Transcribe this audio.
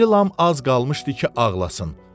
İrilam az qalmışdı ki, ağlasın.